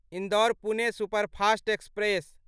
Indore Pune superfast express